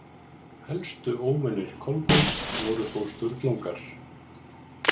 Helstu óvinir Kolbeins voru þó Sturlungar.